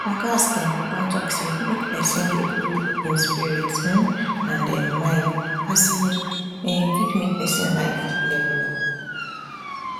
ogas dem don talk say make pesin dey cool im spirit um and um mind as e um fit make pesin life level up